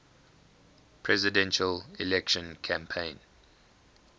presidential election campaign